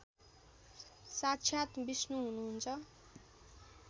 साक्षात विष्णु हुनुहुन्छ